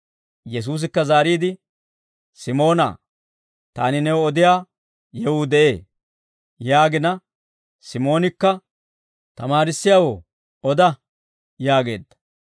Yesuusikka zaariide, «Simoona, taani new odiyaa yewuu de'ee» yaagina, Simoonikka, «Tamaarissiyaawoo, oda» yaageedda.